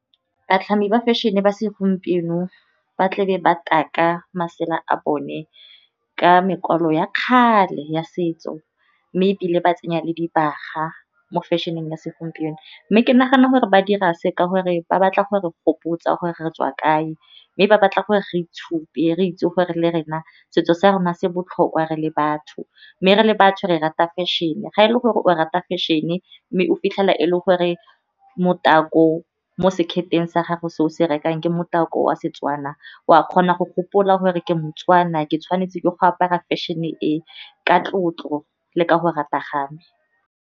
Batlhami ba fashion-e ba segompieno ba tlabe ba taka masela a bone ka mekwalo ya kgale ya setso. Mme ebile ba tsenya le dibaga mo fashion-eng ya segompieno, mme ke nagana gore ba dira seka gore ba batla gore gopotsa gore re tswa kae, mme ba batla gore re itshupe re itse gore le rena setso sa rona se botlhokwa re le batho. Mme re le batho re rata fashion-e ga e le gore o rata fashion-e, mme o fitlhela e le gore motako mo seketeng sa gago, se o se rekang ke motako wa Setswana. O a kgona go gopola gore ke moTswana ke tshwanetse ke go apara fashion-e ka tlotlo le ka go rata ga me.